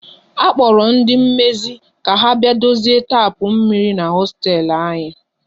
A kpora ndị mmezi ka ha bịa dozie tapu mmiri n'hosteelu anyi